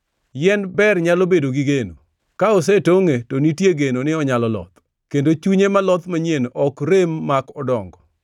“Yien ber nyalo bedo gi geno: ka osetongʼe to nitie geno ni onyalo loth, kendo chunye maloth manyien ok rem mak odongo.